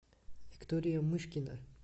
виктория мышкина